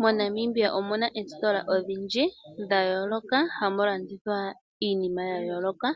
MoNamibia omuna oositola odhindji dhayooloka hamu landithwa iinima yayooloka